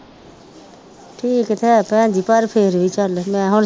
ਠੀਕ ਤਾਂ ਇੱਕ ਹੈਨੀ ਪਰ ਫਿਰ ਵੀ ਚੱਲ ਮੈਂ ਹੁਣ